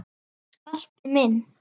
Skarpi minn!